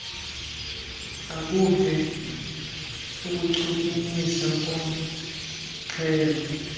akuve ukuchukumiseka kornxhelo